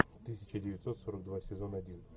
тысяча девятьсот сорок два сезон один